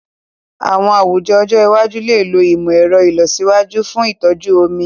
Àwọn àwùjọ ọjọ́ iwájú lè lo ìmọ̀ ẹ̀rọ ìlọsíwájú fún ìtọ́jú omi.